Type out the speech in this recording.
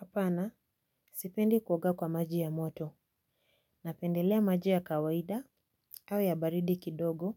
Hapana, sipendi kuoga kwa maji ya moto napendelea maji ya kawaida au ya baridi kidogo